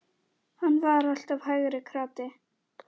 Hann var alltaf hægri krati!